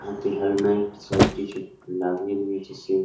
helmet সব কিছু লাগিয়ে নিয়েছে সে--